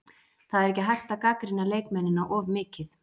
Það er ekki hægt að gagnrýna leikmennina of mikið.